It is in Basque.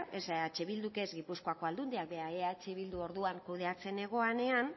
eh bilduk ez gipuzkoako aldundiak eh bildu orduan kudeatzen zegoenean